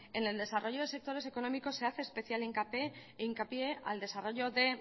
en el desarrollo de sectores económicos se hace especial hincapié al desarrollo de